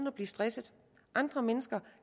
at blive stresset andre mennesker